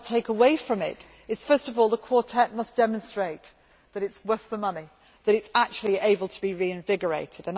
What I take away from it is, first of all, that the Quartet must demonstrate that it is worth the money, that it is actually able to be reinvigorated.